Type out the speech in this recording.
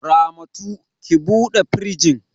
Ramatu, ki bude firjin!